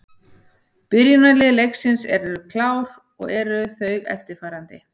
Byrjunarlið leiksins eru klár og eru þau eftirfarandi: